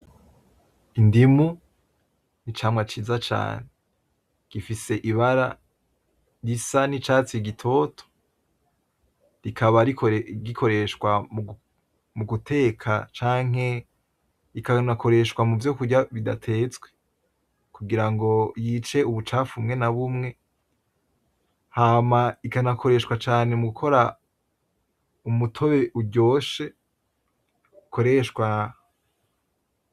Indimu n'icamwa ciza cane, gifise Ibara risa n'icatsi gitoto kikaba gikoreshwa muguteka canke rikanakoreshwa muvyo kurya bidatetswe ,kugira ryice ubucafu bumwe na bumwe hama ikanakoreshwa cane mugukora umutobe uryoshe.